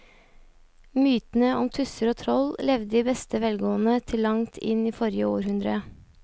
Mytene om tusser og troll levde i beste velgående til langt inn i forrige århundre.